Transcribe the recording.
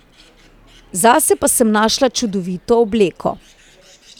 Zase pa sem našla čudovito obleko.